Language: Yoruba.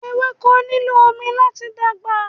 Ewéko nílò omi láti dàgbà